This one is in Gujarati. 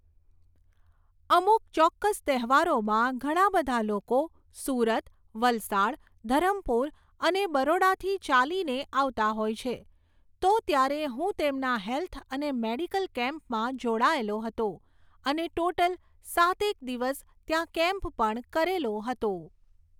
અમુક ચોક્કસ તહેવારોમાં ઘણા બધા લોકો સુરત, વલસાડ, ધરમપુર, અને બરોડાથી ચાલીને આવતા હોય છે. તો ત્યારે હું તેમના હૅલ્થ અને મૅડિકલ કેમ્પમાં જોડાયેલો હતો અને ટોટલ સાત એક દિવસ ત્યાં કૅમ્પ પણ કરેલો હતો